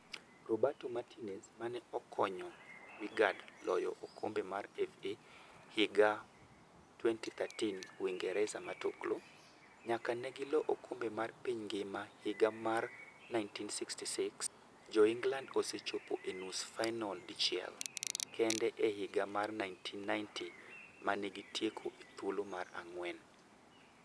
Roberto Martinez mane okonyo Wigan loyo okombe mar FA higa 2013 Uingeresa matuklu:Nyaka negi lo okombe mar piny ngima higa mar 1966, Joingland osechopo e nus fainol dichiel kende-higa mar 1990 manegi tieko e thuolo mar ang'wen.